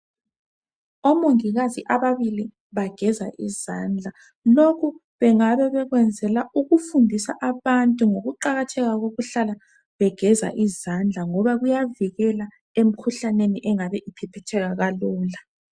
Omongikazi ababili bageza izandla lokhu bengabe bakwenzela ukufundisa abantu ngokuqakatheka kokuhlala begeza izandla ngoba kuyavikela emikhuhlaneni engabe iphephetheka kalula.